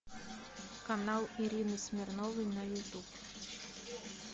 канал ирины смирновой на ютуб